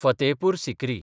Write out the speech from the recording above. Fatehpur Sikri